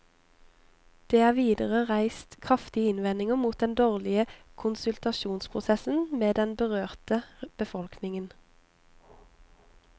Det er videre reist kraftige innvendinger mot den dårlige konsultasjonsprosessen med den berørte befolkningen.